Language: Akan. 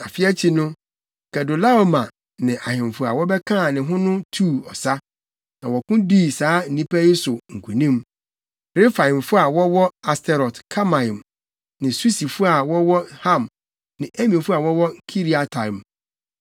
Afe akyi no, Kedorlaomer ne ahemfo a wɔbɛkaa ne ho no tuu ɔsa. Na wɔko dii saa nnipa yi so nkonim: Refaimfo, + 14.5 Refaimfo nkyerɛase ne “nnipa abran.” a wɔwɔ Asterot-Karnaim ne Susifo a wɔwɔ Ham ne Emifo a wɔwɔ Kiriataim